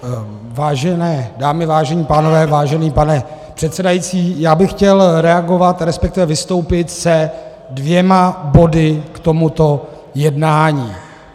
Vážené dámy, vážení pánové, vážený pane předsedající, já bych chtěl reagovat, respektive vystoupit se dvěma body k tomuto jednání.